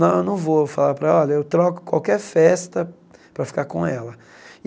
Não, eu não vou falar para, olha, eu troco qualquer festa para ficar com ela.